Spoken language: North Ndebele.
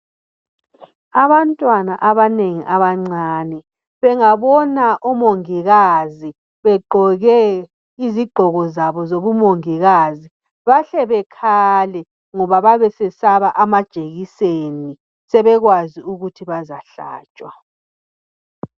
Abantwana abanengi abancane bengabona omongikazi begqoke izigqoko zabo zobumongikazi bahle bekhale ngoba babesesaba amajekiseni sebekwazi ukuthi bazahlatshwa